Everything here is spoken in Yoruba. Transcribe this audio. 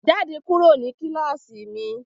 Jáde kúrò ní kíláàsì mi!